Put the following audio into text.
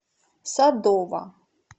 садова